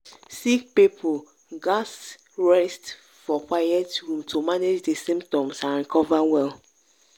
sick people gatz rest for quiet room to manage di symptoms and recover well.